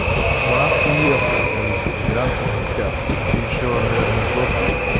в охуевшем количестве грамм пятьдесят это ещё наверное год